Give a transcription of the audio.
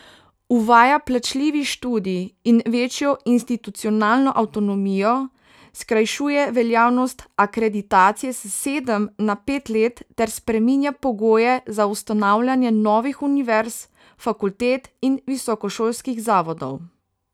Uvaja plačljivi študij in večjo institucionalno avtonomijo, skrajšuje veljavnost akreditacije s sedem na pet let ter spreminja pogoje za ustanavljanje novih univerz, fakultet in visokošolskih zavodov.